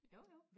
jo jo